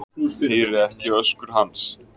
Heyri ekki öskur hans.